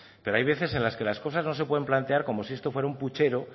pero hay veces en las que las cosas no se pueden plantear como si esto fuera un puchero